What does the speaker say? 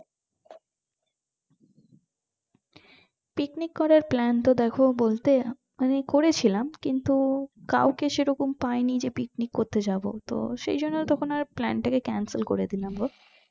picnic করার plan তো দেখো বলতে আমি করেছিলাম কিন্তু কাউকে সেরকম পাইনি যে picnic করতে জব তো সেইজন্য plan তাকে cancel করেদিলাম গো